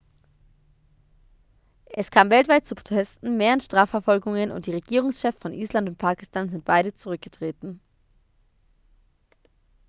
es kam weltweit zu protesten mehreren strafverfolgungen und die regierungschefs von island und pakistan sind beide zurückgetreten